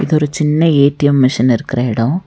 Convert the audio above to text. இதொரு சின்ன ATM machine இருக்கற எடோ.